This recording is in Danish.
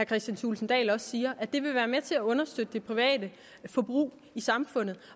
kristian thulesen dahl også siger at det vil være med til at understøtte det private forbrug i samfundet